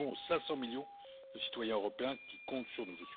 Nous le devons aux 500 millions de citoyens européens qui comptent sur nous.